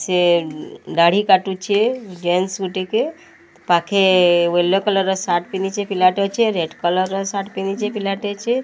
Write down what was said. ସିଏ ଦାଢି କାଟୁଚେ ଟିକେ। ପାଖେ ୟେଲୋ କଲର ସାଟ ପିଧିଚେ। ପିଲାଟେ ଅଛି। ରେଡ୍ କଲର ସାଟ ଟେ ପିଧିଚେ। ପିଲାଟେ ଅଛି।